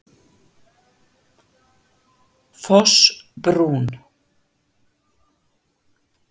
Fossbrún